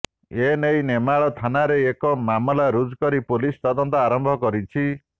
ଏ ନେଇ ନେମାଳ ଥାନାରେ ଏକ ମାମଲା ରୁଜୁ କରି ପୁଲିସ୍ ତଦନ୍ତ ଆରମ୍ଭ କରିଛି